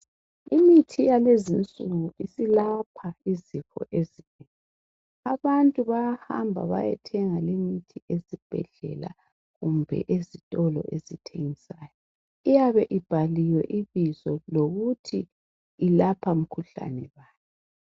Imithi yalezinsuku isilapha izifo ezinengi, abantu bayahamba bayethenga ezibhedlela loba ezitolo iyabe ibhaliwe ukuthi ilapha iphi imikhuhlane.